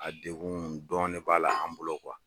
A degun dɔɔnin de b'a la an bolo